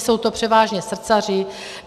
Jsou to převážně srdcaři.